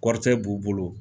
Kɔrɔtɛ b'u bolo.